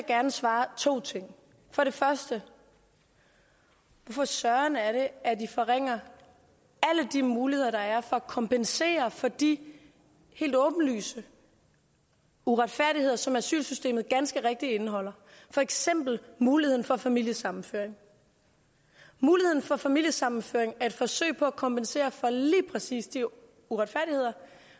gerne svare to ting for det første hvorfor søren er det at vi forringer alle de muligheder der er for at kompensere for de helt åbenlyse uretfærdigheder som asylsystemet ganske rigtigt indeholder for eksempel muligheden for familiesammenføring muligheden for familiesammenføring er et forsøg på at kompensere for lige præcis de uretfærdigheder